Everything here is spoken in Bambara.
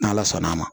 N'ala sɔnn'a ma